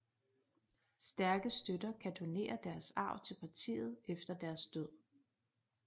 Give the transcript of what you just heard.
Stærke støtter kan donere deres arv til partiet efter deres død